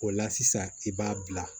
O la sisan i b'a bila